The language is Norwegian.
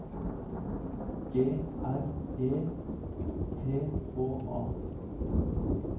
G R E T H A